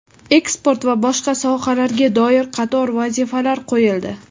eksport va boshqa sohalarga doir qator vazifalar qoʼyildi.